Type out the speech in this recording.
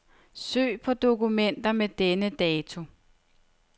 Søg på dokumenter med denne dato.